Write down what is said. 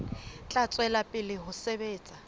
tla tswela pele ho sebetsa